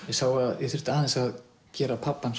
ég sá að ég þurfti aðeins að gera pabbann